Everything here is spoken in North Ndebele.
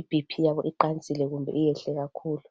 ibp iqansele kumbe yehlile kakhulu